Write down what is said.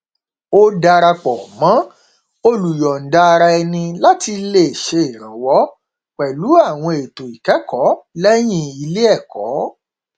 ó dara pọ mọ olùyọndaaraẹni láti lè ṣèrànwọ pẹlú àwọn ètò ìkẹkọọ lẹyìn ilé ẹkọ